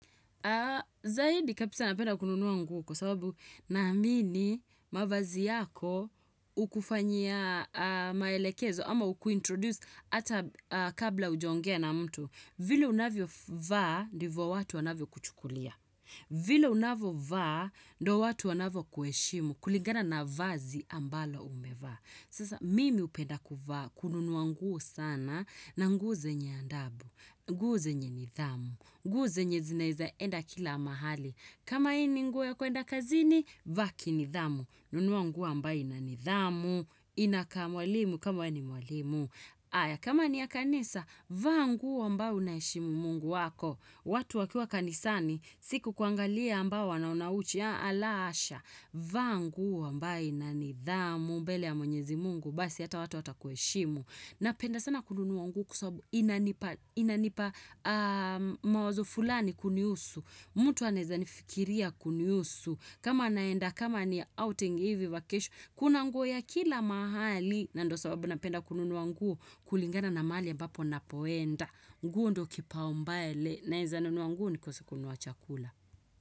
Zaidi kabisa, napenda kununuwa nguo, kwa sababu naamini mavazi yako hukufanyia maelekezo ama hukuintroduce hata kabla hujaongea na mtu. Vile unavyo vaa ndivyo watu wanavyo kuchukulia. Vile unavyo vaa ndio watu wanavyo kuheshimu kulingana na vazi ambalo umevaa. Sasa mimi hupenda kuvaa, kununua nguo sana, na nguo zenye adabu, nguo zenye nidhamu, nguo zenye zinaweza enda kila mahali. Kama hii ni nguo ya kwenda kazini, vaa ki nidhamu. Nunua nguo ambayo ina nidhamu, inakaa mwalimu kama wewe ni mwalimu. Haya kama ni ya kanisa, vaa nguo ambayo unaheshimu mungu wako. Watu wakiwa kanisani, si kukuangalia ambao wanaona uchi, la hasha. Vaa nguo ambayo ina nidhamu, mbele ya mwenyezi mungu, basi hata watu watakuheshimu, napenda sana kununua nguo kwa sababu inanipa mawazo fulani kunihusu, mtu anaweza nifikiria kunihusu, kama naenda, kama ni outing hivi, vacation, kuna nguo ya kila mahali, na ndio sababu napenda kununua nguo kulingana na mahali ambapo ninapoenda nguo ndio kipaumbele, naweza nunua nguo nikose kununua chakula.